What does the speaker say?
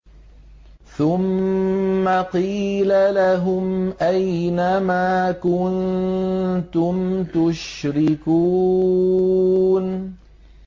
ثُمَّ قِيلَ لَهُمْ أَيْنَ مَا كُنتُمْ تُشْرِكُونَ